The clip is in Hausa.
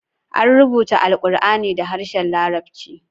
An rubuta Alqur'ani da harshen Larabci.